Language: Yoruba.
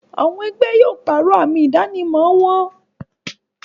Àwọn ẹgbẹ́ yóò pàrọ̀ àmì ìdánimọ̀ wọn